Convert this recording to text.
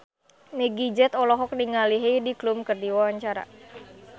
Meggie Z olohok ningali Heidi Klum keur diwawancara